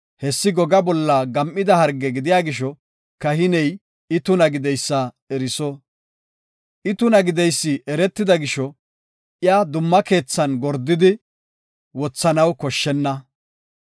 hessi gogaa bolla gam7ida harge gidiya gisho, kahiney I tuna gideysa eriso. I tuna gideysi eretida gisho, iya dumma keethan gordidi wothanaw koshshenna.